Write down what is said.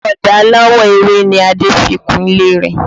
Ọ̀dà aláwọ̀ ewé ni Adé fi kun ilé rẹ̀